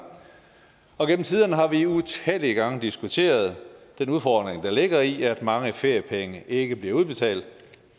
og igennem tiderne har vi utallige gange diskuteret den udfordring der ligger i at mange feriepenge ikke bliver udbetalt